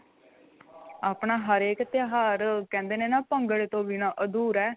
ਆਪਣਾ ਹਰੇਕ ਤਿਉਹਾਰ ਕਹਿੰਦੇ ਨੇ ਨਾ ਭੰਗੜੇ ਤੋ ਬਿਨ੍ਹਾਂ ਅਧੂਰਾ